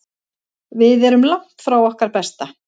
Við erum langt frá okkar besta.